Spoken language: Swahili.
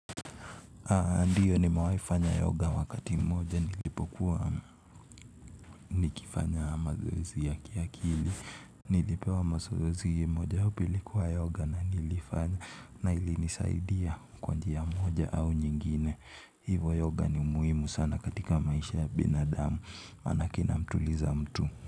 Ndiyo nimewai fanya yoga wakati mmoja nilipokuwa nikifanya mazoezi ya kiakili. Nilipewa mazoezi mmoja upilikuwa yoga na nilifanya na ili nisaidia kwanji ya mmoja au nyingine. Hivo yoga ni umuimu sana katika maisha ya binadamu anakina mtuliza mtu.